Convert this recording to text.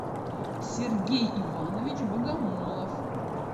сергей иванович богомолов